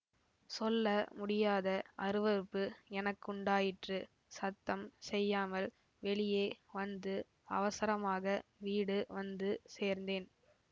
சொல்ல முடியாத அருவருப்பு எனக்குண்டாயிற்று சத்தம் செய்யாமல் வெளியே வந்து அவசரமாக வீடு வந்து சேர்ந்தேன்